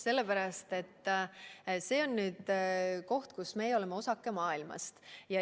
Sellepärast, et see on nüüd koht, kus me oleme osake maailmast.